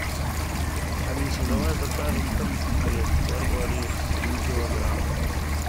алиса давай закажем конфет барбарис один килограмм